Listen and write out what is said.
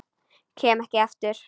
Kem ekki aftur.